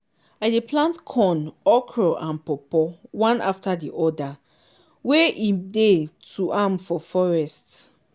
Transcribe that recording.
i dey plant corn okra and pawpaw one after the other di way em dey to am for forest.